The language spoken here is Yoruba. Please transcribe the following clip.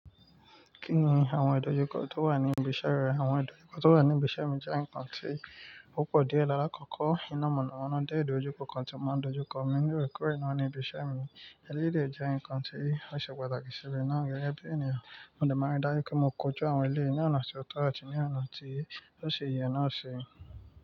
Kí ni àwọn ìdojúkọ tó wà ní ibiṣẹ́ rẹ? Àwọn ìdojúkọ tó wà ní ibiṣẹ́ mi jẹ́ ǹkan tí ó pọ̀ díẹ̀. Lálakòkò iná mọ̀nàmọ́ná jẹ́ ìdojúkọ kan tí o máa ń dojú kọ, ní òòrèkóòrè náà ní ibiṣẹ́ mi. Eléyìí dẹ̀ jẹ́ ǹkan tí ó ṣe pàtàkì sí mi náà gẹ́gẹ́ bí ènìyàn. Mo dẹ̀ máa ń rí dájú pé mo kóju àwọn eléyìí ní ọ̀nà tí ó tọ́ àti ní ọ̀nà tí ó ṣì yẹ náà ṣe.